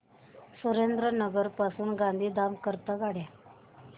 सुरेंद्रनगर पासून गांधीधाम करीता रेल्वेगाड्या